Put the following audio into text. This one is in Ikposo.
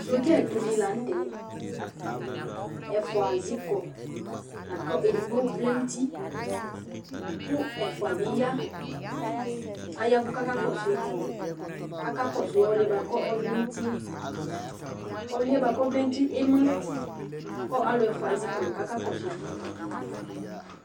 Sɔɖza ɛtʊ dɩ laŋʊtɛ Ɛfʊa zɩƙɔ laƙʊ edɩgbo ʋlɛ ŋʊtɩ ƙʊ ɛfʊa ɓɩ ƴa aƴaʋʊ ƙa ƙɔsʊɩ Aƙa ƙɔsʊ ɔlɩɛ ɓʊakʊ ɔvlɛ ŋʊ ʊtɩe Ɔlɩɛ ɓʊaƙʊ ɔʋlɛ ŋʊ ʊtɩe emla ƙʊ alʊ ɛfʊa azɩƙɔ ƙa ƙa ƙɔsʊɩ